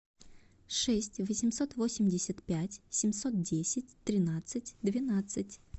шесть восемьсот восемьдесят пять семьсот десять тринадцать двенадцать